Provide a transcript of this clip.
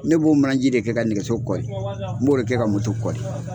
Ne b'o mana ji de kɛ ka nɛgɛso kɔli, n b'o de kɛ ka kɔli.